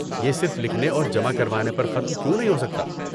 یہ صرف لکھنے اور جمع کروانے پر ختم کیوں نہیں ہو سکتا؟